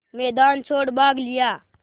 मैदान छोड़ भाग लिया